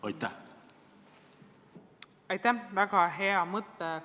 Aitäh, väga hea mõte!